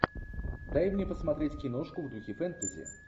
дай мне посмотреть киношку в духе фэнтези